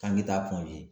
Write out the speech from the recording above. K'an ki ta kɔntɛ